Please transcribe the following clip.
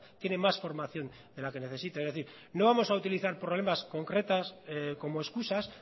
tiene más formación de la que necesita es decir no vamos a utilizar problemas concretos como excusas